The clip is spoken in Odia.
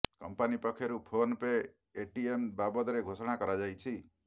କମ୍ପାନୀ ପକ୍ଷରୁ ଫୋନ ପେ ଏଟିଏମ ବାବଦରେ ଘୋଷଣା କରାଯାଇଛି